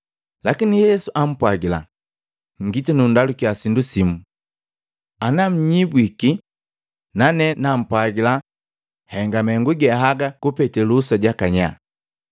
Lakini Yesu ampwagila, “Ngiti nundalukya sindu simu. Anannyibwiki, nane nampwagila henga mahengu ge aga kupete luhusa jaka nyaa.